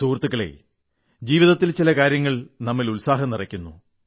സുഹൃത്തുക്കളെ ജീവിതത്തിൽ ചില കാര്യങ്ങൾ നമ്മിൽ ഉത്സാഹം നിറക്കുന്നു